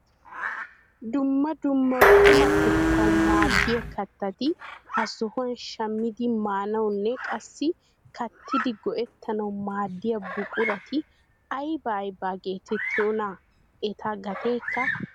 Dumma dumma qumatettawu maaddiyaa kattati ha sohuwaan shaammidi maanawunne qassi kattidi go"ettanawu maaddiyaa buqurati aybaa aybaa getettiyoonaa? Eta gateekka woysan de'ii?